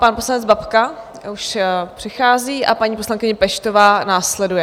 Pan poslanec Babka už přichází a paní poslankyně Peštová následuje.